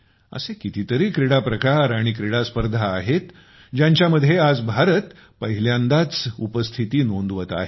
असे कितीतरी क्रीडाप्रकार आणि क्रीडास्पर्धा आहेत ज्यांच्यामध्ये आज भारत पहिल्यांदाच उपस्थिती नोंदवत आहे